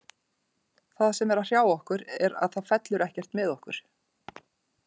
Það sem er að hrjá okkur er að það fellur ekkert með okkur.